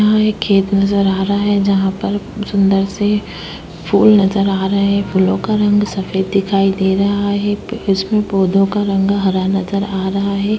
यहाँ एक खेत नजर आ रहा है जहां पर सुंदर से फूल नजर आ रहा है। फूलों का रंग सफेद दिखाई दे रहा है। इसमें पौधों का रंग हरा नजर आ रहा है।